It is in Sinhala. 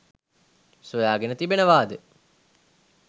සොයා ගෙන තිබෙනවාද?